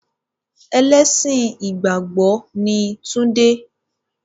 Ẹlẹ́sìn ìgbàgbọ́ ni tunde.